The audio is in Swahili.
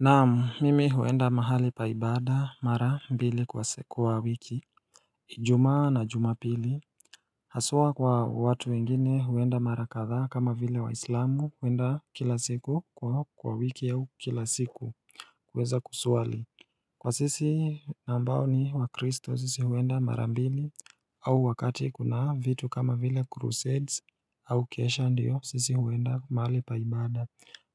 Na mimi huenda mahali pa ibada mara mbili kuwa wiki Juma na jumapili Haswa kwa watu wengine huenda marakatha kama vile waislamu huenda kila siku kwa wiki au kila siku kuweza kusuali Kwa sisi nambao ni wa kristo sisi huenda marambili au wakati kuna vitu kama vile crusades au kesha ndiyo sisi huenda mahali paibada